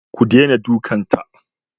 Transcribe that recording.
Ku dena dukan ta!